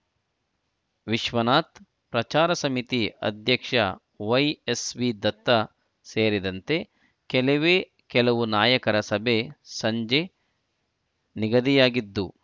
ವಿಶ್ವನಾಥ್ ಪ್ರಚಾರ ಸಮಿತಿ ಅಧ್ಯಕ್ಷ ವೈಎಸ್ವಿ ದತ್ತ ಸೇರಿದಂತೆ ಕೆಲವೇ ಕೆಲವು ನಾಯಕರ ಸಭೆ ಸಂಜೆ ನಿಗದಿಯಾಗಿದ್ದು